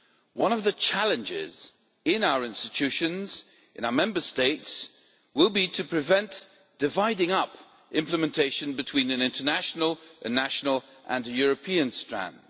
One of the challenges in our institutions, in our Member States, will be to prevent dividing up implementation between an international, a national and a European strand.